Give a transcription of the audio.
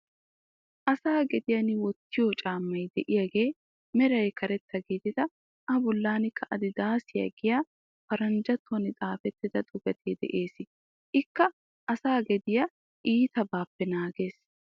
Asay gediyan wottiyo caammay de'iyagee meraa karetta gididi A bollankka adidaasiya giya paranjjattuwan xaafettida xuufee de'ees. Ikka asaa gediya iitabaappe naagees.